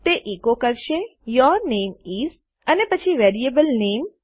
તે એકો કરશે your name is અને પછી વેરીએબલ નામે